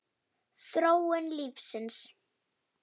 Þróun lífsins